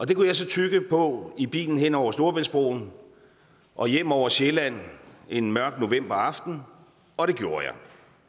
det kunne jeg så tygge på i bilen hen over storebæltsbroen og hjem over sjælland en mørk novemberaften og det gjorde jeg